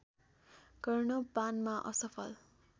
गर्न पानमा असफल